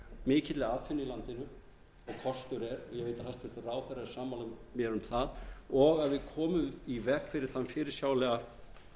mikilli atvinnu í landinu og kostur er ég veit að hæstvirtur ráðherra er sammála mér um það og við komum í veg fyrir þann fyrirsjáanlega